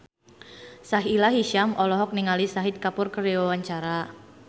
Sahila Hisyam olohok ningali Shahid Kapoor keur diwawancara